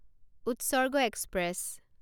Utsarga express